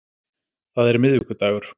Það er miðvikudagur.